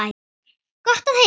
Gott að heyra.